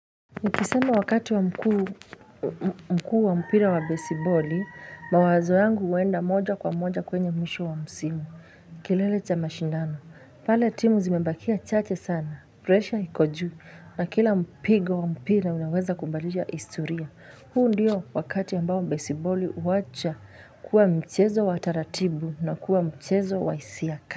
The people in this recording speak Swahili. Nikisema wakati wa mkuu wa mpira wa besiboli, mawazo yangu uenda moja kwa moja kwenye mwisho wa msimu, kilele cha mashindano. Pale timu zimembakia chache sana, presha iko juu, na kila mpigo wa mpira unaweza kubadilisha historia. Huu ndiyo wakati ya ambao besiboli huacha kuwa mchezo wa taratibu na kuwa mchezo wa hisia.